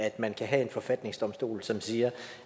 at man kan have en forfatningsdomstol som siger